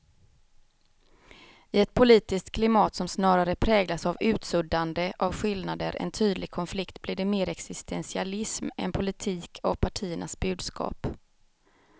I ett politiskt klimat som snarare präglas av utsuddande av skillnader än tydlig konflikt blir det mer existentialism än politik av partiernas budskap.